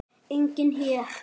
Enginn hér.